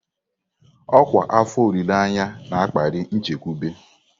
Ọkwa afọ olileanya na-akpali nchekwube.